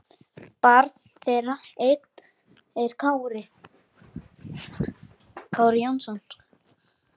Barn þeirra er Einar Kári.